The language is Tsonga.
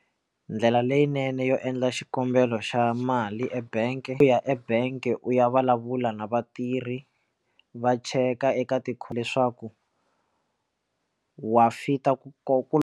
Ndlela leyinene yo endla xikombelo xa mali ebank ku ya ebank u ya vulavula na vatirhi va cheka eka ti kho leswaku wa fit ku ku.